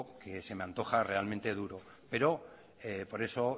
que se me antoja realmente duro pero por eso